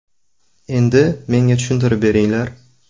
Endi ‘Menga tushuntirib beringlar.